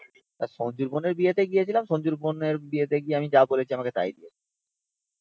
সঞ্জু র বোনের সঞ্জুর বোনের বিয়ে তে গেছিলাম। সঞ্জুর বোনের বিয়ে তে গিয়ে আমি যা বলেছি আমাকে তাই দিয়েছে